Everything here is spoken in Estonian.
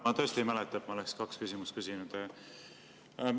Ma tõesti ei mäleta, et ma oleksin kaks küsimust küsinud.